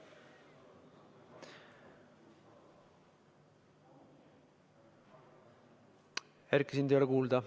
Erki, sind ei ole kuulda.